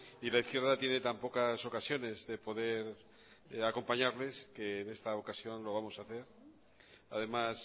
y la izquierda tiene tan pocas ocasiones de poder acompañarles que en esta ocasión lo vamos a hacer además